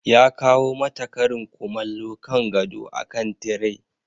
Ya kawo mata karin kumallo kan gado akan tire.